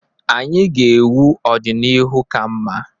Anyị ga-ewu ọdịnihu ka mma.